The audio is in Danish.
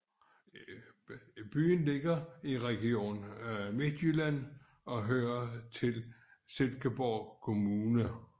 Byen ligger i Region Midtjylland og hører til Silkeborg Kommune